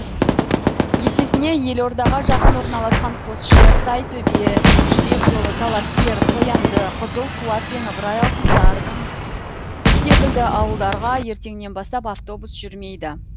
есесіне елордаға жақын орналасқан қосшы тайтөбе жібек жолы талапкер қоянды қызылсуат пен ыбырай алтынсарын секілді ауылдарға ертеңнен бастап автобус жүрмейді